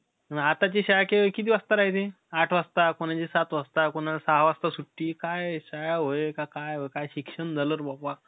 आजूक लई छान पद्धतीने ते, MC स्टॅन गेला. तिथं song आला. तिथं सांगितलं का, कपिल चा movie येणारे. तुम्ही जाऊन बघा. MC स्टॅन ने लई कमीवला आता.